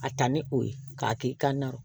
A ta ni o ye k'a kɛ i ka na